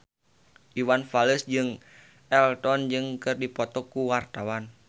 Iwan Fals jeung Elton John keur dipoto ku wartawan